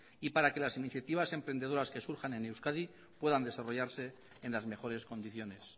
y para que las iniciativas emprendedoras que surjan en euskadi puedan desarrollarse en las mejores condiciones